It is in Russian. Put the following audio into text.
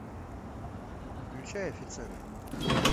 включай офицеры